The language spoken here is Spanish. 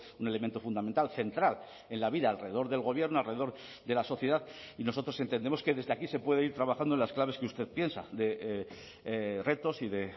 un elemento fundamental central en la vida alrededor del gobierno alrededor de la sociedad y nosotros entendemos que desde aquí se puede ir trabajando en las claves que usted piensa de retos y de